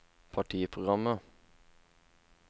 partiprogrammet